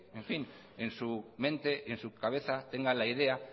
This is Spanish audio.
en su mente y en su cabeza tenga la idea